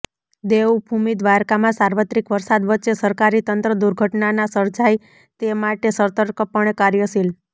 દેવભૂમિ દ્વારકામાં સાર્વત્રિક વરસાદ વચ્ચે સરકારી તંત્ર દુર્ઘટના ના સર્જાય તે માટે સતર્કપણે કાર્યશીલ